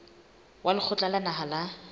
wa lekgotla la naha la